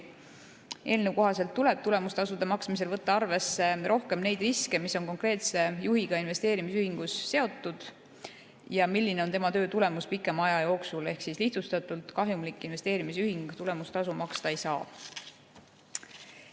Eelnõu kohaselt tuleb tulemustasude maksmisel võtta arvesse rohkem neid riske, mis on konkreetse juhiga investeerimisühingus seotud, ja seda, milline on tema töö tulemus pikema aja jooksul, ehk lihtsustatult: kahjumlik investeerimisühing tulemustasu maksta ei saa.